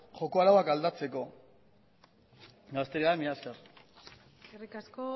joko arauak aldatzeko eta besterik gabe mila esker eskerrik asko